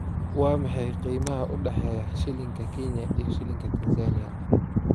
Waa maxay qiimaha u dhexeeya shilinka Kenya iyo shilinka Tansaaniya?